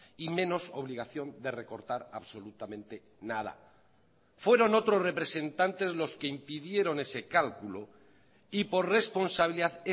y menos obligación de recortar absolutamente nada fueron otros representantes los que impidieron ese cálculo y por responsabilidad